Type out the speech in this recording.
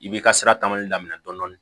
I b'i ka sira tali daminɛ dɔɔnin dɔɔnin